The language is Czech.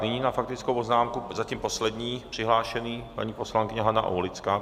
Nyní na faktickou poznámku zatím poslední přihlášený - paní poslankyně Hana Aulická.